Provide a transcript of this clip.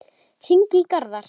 Hringi í Garðar.